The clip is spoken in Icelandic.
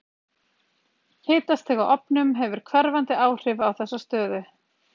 Hitastig á ofnum hefur hverfandi áhrif á þessa stöðu.